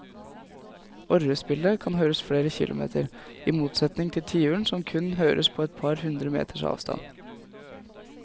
Orrespillet kan høres flere kilometer, i motsetning til tiuren som kun høres på et par hundre meters avstand.